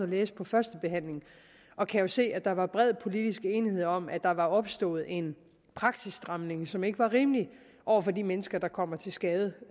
læse førstebehandlingen og kan jo se at der var bred politisk enighed om at der var opstået en praksisstramning som ikke var rimelig over for de mennesker der kommer til skade